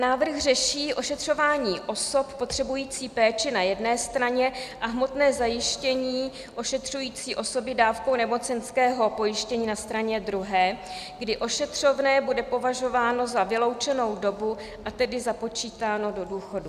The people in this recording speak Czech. Návrh řeší ošetřování osob potřebujících péči na jedné straně a hmotné zajištění ošetřující osoby dávkou nemocenského pojištění na straně druhé, kdy ošetřovné bude považováno za vyloučenou dobu, a tedy započítáno do důchodu.